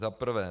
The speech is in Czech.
Za prvé.